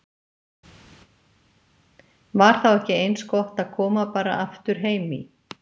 Var þá ekki eins gott að koma bara aftur heim í